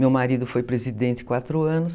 Meu marido foi presidente quatro anos.